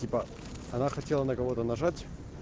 типо она хотела на кого-то нажать